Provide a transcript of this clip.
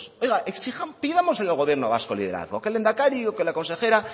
oiga exijamos pidamos al gobierno vasco liderazgo que el lehendakari o que la consejera